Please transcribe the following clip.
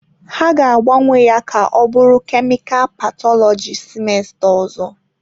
Ha ga-agbanwe ya ka ọ bụrụ kemikal pathology semester ọzọ.